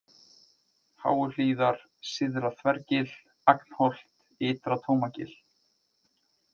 Háuhlíðar, Syðra-Þvergil, Agnholt, Ytra-Tómagil